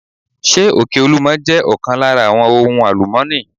Ṣé òkè olúmo jẹ́ ọ̀kan lára àwọn ohun àlùmọ́ni?